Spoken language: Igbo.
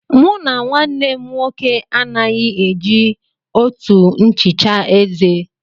Mụ na nwannem nwoke anaghị e ji òtù nchicha eze.